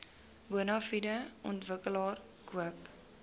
bonafide ontwikkelaar koop